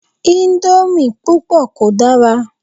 Íńdómì púpọ̀ kò dára.